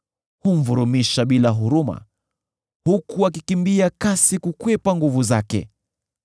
Humvurumisha bila huruma, huku akikimbia kasi kukwepa nguvu zake.